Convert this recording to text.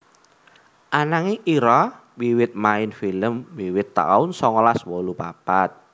Ananging Ira wiwit main film wiwit taun songolas wolu papat